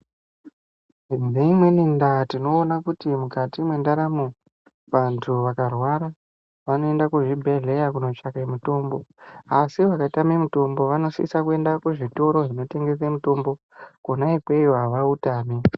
Neimweni ndaa tinoona kuti mukati mwendaramo vanhu vakarwara vanoenda kuzvibhehlera kunotsvake mutombo. Asi vakatame mutombo vanosisa kuenda kuzvitoro zvinotengesa mitombo, kona ikweyo havautami.